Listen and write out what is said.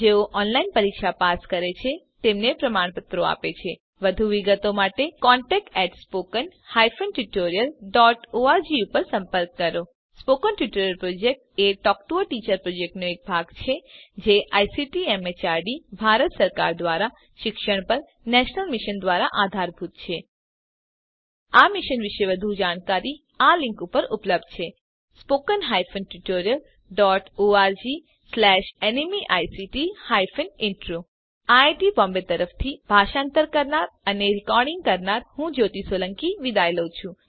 જેઓ ઓનલાઇન પરીક્ષા પાસ કરે છે તેમને પ્રમાણપત્રો આપે છે વધુ વિગતો માટે contact at spoken hyphen tutorial dot org ઉપર સંપર્ક કરો spoken tutorial project a talk to a teacher પ્રોજેક્ટનો એક ભાગ છે તે આઇસીટીએમએચઆરડી ભારત સરકાર દ્વારા શિક્ષણ પર નેશનલ મિશન દ્વારા આધારભૂત છે આ મિશન પર વધુ જાણકારી આપેલ લીંક પર ઉપલબ્ધ છે spoken hyphen tutorial dot org slash NMEICT hyphen intro IIT Mumbai તરફથી આ ટ્યુટોરીયલ ભાષાંતર કરનાર હું જ્યોતી સોલંકી વિદાય લઉં છું